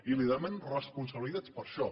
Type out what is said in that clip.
i li demanem responsabilitats per això